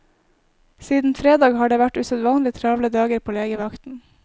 Siden fredag har det vært usedvanlig travle dager på legevakten.